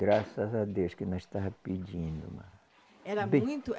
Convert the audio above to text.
Graças a Deus que não estava pedindo. Era muito